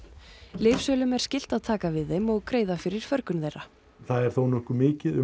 lyfsölum er skylt að taka við þeim og greiða fyrir förgun þeirra það er þó nokkuð mikið um